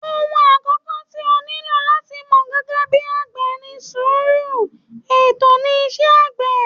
Òhun àkọ́kọ́ tí o nílò láti mọ̀ gẹ́gẹ́ bí àgbẹ̀ ni sùúrù, ètò ni iṣẹ́ àgbẹ̀.